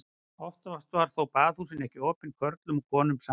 Oftast voru þó baðhúsin ekki opin körlum og konum samtímis.